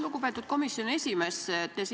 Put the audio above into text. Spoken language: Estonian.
Lugupeetud komisjoni esimees!